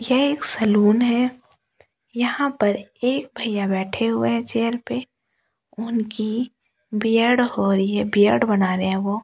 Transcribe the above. ये एक सैलून है यहाँ पर एक भैया बैठे हुए है चेयर पे उनकी बियर्ड हो रही है बियर्ड बना रहे है वह ।